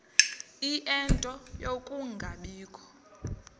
ie nto yokungabikho